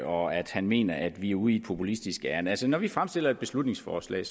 og at han mener at vi er ude i et populistisk ærinde altså når vi fremsætter et beslutningsforslag